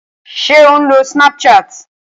Ṣé ò ń lo snapchat?